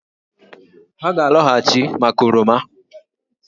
Ha ga-alọghachị maka oroma